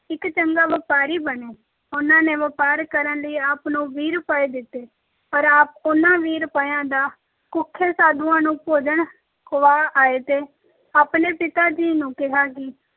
ਇਕ ਚੰਗਾ ਵਪਾਰੀ ਬਣੇ। ਉਨ੍ਹਾਂ ਨੇ ਵਪਾਰ ਕਰਨ ਲਈ ਆਪ ਨੂੰ ਵੀਹ ਰੁਪਏ ਦਿੱਤੇ, ਪਰ ਆਪ ਜੀ ਉਨ੍ਹਾਂ ਵੀਹ ਰੁਪਇਆ ਦਾ ਭੁੱਖੇ ਸਾਧੂਆਂ ਨੂੰ ਭੋਜਨ ਖੁਆ ਆਏ, ਤੇ ਆਪਣੇ ਪਿਤਾ ਜੀ ਨੂੰ ਕਿਹਾ ਕਿ